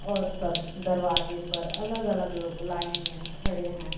और सब दरवाजे पर अलग अलग लोग लाइन में खड़े हैं।